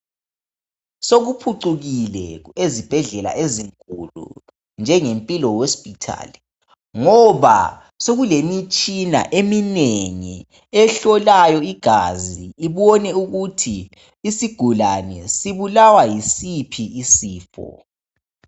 Sokuphucukile ezibhedlela ezinkulu njenge Mpilo . Ngoba sokumitshina eminengi ehlolayo igazi ibone ukuthi isigulani sibulawa yisiphi isifo.